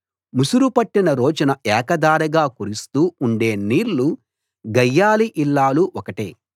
ముసురు పట్టిన రోజున ఏక ధారగా కురుస్తూ ఉండే నీళ్లు గయ్యాళి ఇల్లాలు ఒకటే